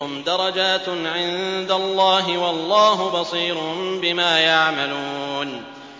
هُمْ دَرَجَاتٌ عِندَ اللَّهِ ۗ وَاللَّهُ بَصِيرٌ بِمَا يَعْمَلُونَ